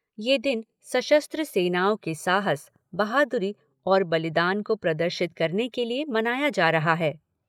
यह दिन सशस्त्र सेनाओं के साहस, बहादुरी और बलिदान को प्रदर्शित करने के लिए मनाया जा रहा है।